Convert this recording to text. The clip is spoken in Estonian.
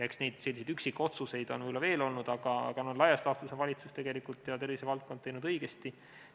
Eks neid selliseid üksikotsuseid on võib-olla veel olnud, aga laias laastus on valitsus ja tervisevaldkond tegutsenud õigesti.